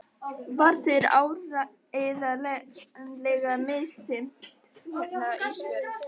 Var þér áreiðanlega misþyrmt hérna Ísbjörg?